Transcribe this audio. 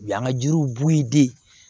U y'an ka jiriw b'u den